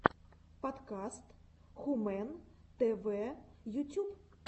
подкаст хумэн тэ вэ ютюб